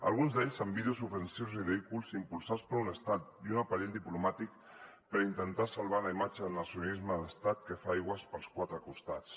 alguns d’aquests amb vídeos ofensius i ridículs impulsats per un estat i un aparell diplomàtic per intentar salvar la imatge del nacionalisme d’estat que fa aigües pels quatre costats